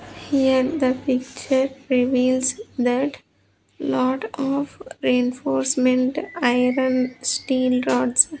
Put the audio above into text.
Here the picture reveals that lot of reinforcement iron steel rods